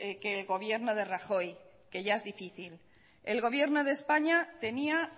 que el gobierno de rajoy que ya es difícil el gobierno de españa tenía